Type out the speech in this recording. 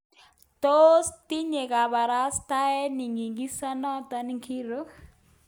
Tos tinye kabarastaeni nyigisindo ngiro?